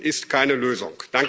Vertuschen ist keine Lösung.